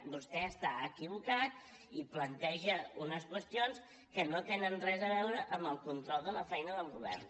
vostè està equivocat i planteja unes qüestions que no tenen res a veure amb el control de la feina del govern